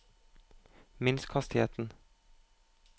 minsk hastigheten